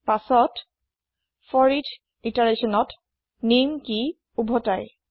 পাছৰ ফৰিচ ইতাৰেচ্যনত নেম কি উভতাই